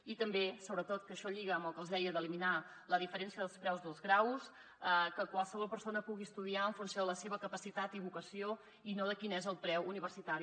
i també sobretot que això lliga amb el que els deia d’eliminar la diferència dels preus dels graus que qualsevol persona pugui estudiar en funció de la seva capaci·tat i vocació i no de quin és el preu universitari